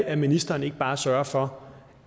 at ministeren ikke bare sørger for